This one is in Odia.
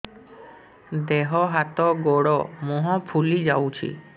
ଦେହ ହାତ ଗୋଡୋ ମୁହଁ ଫୁଲି ଯାଉଛି